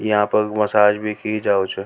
यह पे मसाज भी की जावे छ।